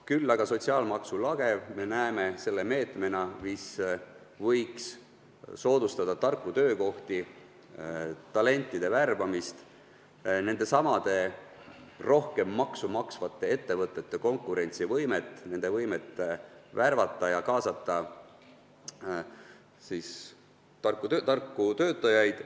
Küll aga näeme sotsiaalmaksu lage selle meetmena, mis võiks soodustada tarkade töökohtade loomist, talentide värbamist, nendesamade rohkem maksu maksvate ettevõtete konkurentsivõimet, nende võimet värvata ja kaasata tarku töötajaid.